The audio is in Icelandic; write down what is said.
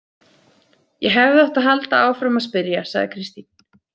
Ég hefði átt að halda áfram að spyrja, sagði Kristín.